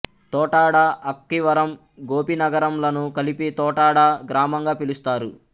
తోటాడ అక్కివరం గోపినగరం లను కలిపి తోటాడ గ్రామంగా పిలుస్తారు